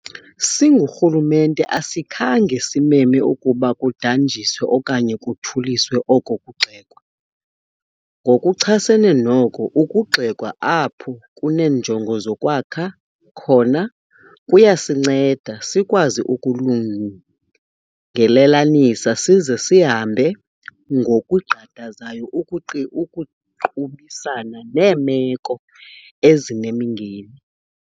Singurhulumente asikhange simeme ukuba kudanjiswe okanye kuthuliswe oko kugxekwa. Ngokuchasene noko, ukugxekwa, apho kuneenjongo zokwakha khona, kuyasinceda sikwazi ukulungelelanisa size sihambe ngokugqadazayo ukuqubisana neemeko ezinemingeni.